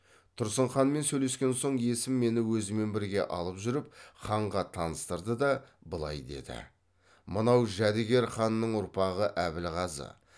тұрсын ханмен сөйлескен соң есім мені өзімен бірге алып жүріп ханға таныстырды да былай деді мынау жәдігер ханның ұрпағы әбілғазы